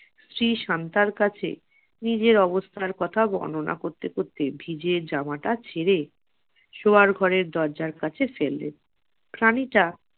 স্ত্রী শান্তার কাছে নিজের অবস্থার কথা বর্ণনা করতে করতে ভিজে জামাটা ছেড়ে সোয়ার ঘরের দরজার কাছে ফেললেন প্রাণীটা